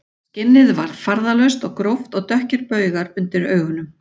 Skinnið var farðalaust og gróft og dökkir baugar undir augunum